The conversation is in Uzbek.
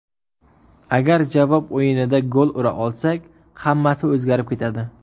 Agar javob o‘yinida gol ura olsak, hammasi o‘zgarib ketadi.